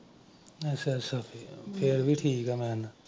ਅੱਛਾ ਅੱਛਾ ਅੱਛਾ ਫੇਰ ਵੀ ਠੀਕ ਏ .